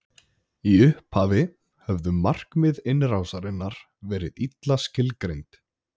Í upphafi höfðu markmið innrásarinnar verið illa skilgreind.